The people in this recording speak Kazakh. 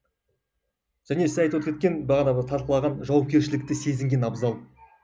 және сіз айтып өтіп кеткен бағанағы талқылаған жауапкершілікті сезінген абзал